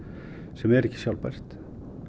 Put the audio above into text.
sem er ekki sjálfbært